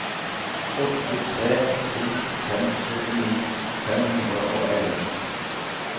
åtte tre to fem syttini fem hundre og elleve